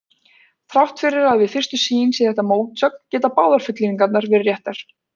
Þrátt fyrir að við fyrstu sýn sé þetta mótsögn geta báðar fullyrðingarnar verið réttar.